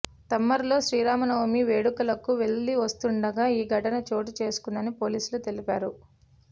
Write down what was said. తమ్మరలో శ్రీరామనవమి వేడుకలకు వెళ్లివస్తుండగా ఈ ఘటన చోటు చేసుకుందని పోలీసులు తెలిపారు